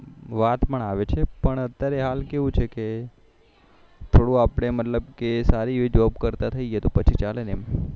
વાત પણ આવે છે પણ અત્યારે હાલ કેવું છે કે થોડુ આપને મતલબ કે સારી એવી જોબ કરતા થઇએ તો પછી ચાલે ને